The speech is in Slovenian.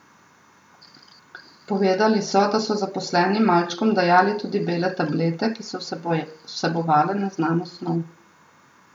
Povedali so, da so zaposleni malčkom dajali tudi bele tablete, ki so vsebovale neznano snov.